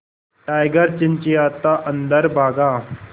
tiger चिंचिंयाता अंदर भागा